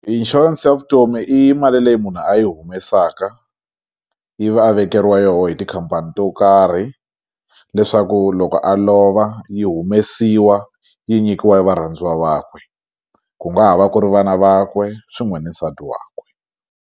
Inshurense ya vutomi i mali leyi munhu a yi humesaka ivi a vekeriwa yoho hi tikhampani to karhi leswaku loko a lova yi humesiwa yi nyikiwa e varhandziwa vakwe ku nga ha va ku ri vana vakwe swin'we ni nsati wakwe.